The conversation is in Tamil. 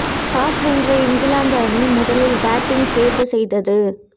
டாஸ் வென்ற இங்கிலாந்து அணி முதலில் பேட்டிங் தேர்வு செய்தது